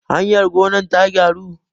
hayar gonar ta gyaru?